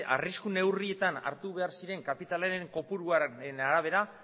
arrisku neurrietan hartu behar ziren kapitalaren kopuruaren arabera